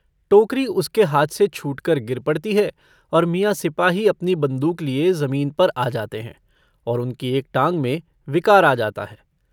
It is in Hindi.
टोकरी उसके हाथ से छूटकर गिर पड़ती है और मियां सिपाही अपनी बन्दूक लिये जमीन पर आ जाते हैं और उनकी एक टॉग में विकार आ जाता है।